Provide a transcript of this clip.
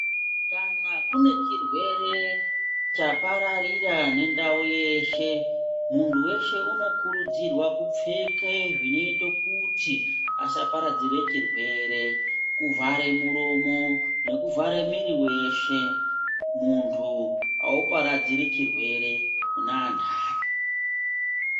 Kana kune chirwere chapararira nendau yeshe munhu weshe unokurudzirwa kupfeke zvinoite kuti asaparadzire chirwere. Kuvhare muromo nekuvhare mwiri weshe. Muntu auparadziri chirwere kune antani.